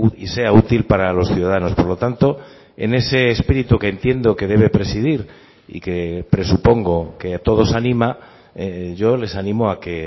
y sea útil para los ciudadanos por lo tanto en ese espíritu que entiendo que debe presidir y que presupongo que a todos anima yo les animo a que